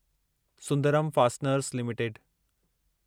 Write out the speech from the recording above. Sundaram fasteners limited